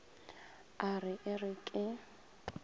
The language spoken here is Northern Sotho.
a re e re ke